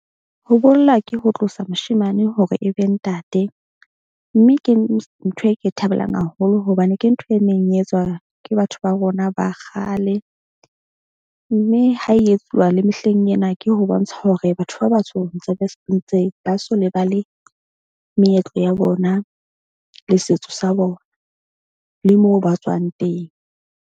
Ho bolla ke ho tlosa moshemane hore e be ntate mme ke ntho e ke e thabelang haholo. Hobane ke ntho e neng e etswa ke batho ba rona ba kgale. Mme ha e etsuwa le mehleng ena ke ho bontsha hore batho ba batsho ntse ba ntse ba so lebale meetlo ya bona le setso sa bona le moo ba tswang teng.